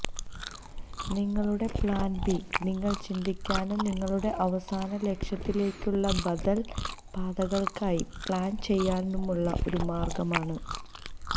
നിങ്ങളുടെ plan B നിങ്ങൾ ചിന്തിക്കാനും നിങ്ങളുടെ അവസാന ലക്ഷ്യത്തിലേക്കുള്ള ബദൽ പാതകൾക്കായി പ്ലാൻ ചെയ്യാനുമുള്ള ഒരു മാർഗ്ഗമാണ്